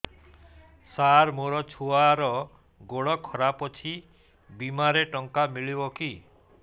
ସାର ମୋର ଛୁଆର ଗୋଡ ଖରାପ ଅଛି ବିମାରେ ଟଙ୍କା ମିଳିବ କି